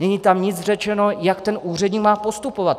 Není tam nic řečeno, jak ten úředník má postupovat.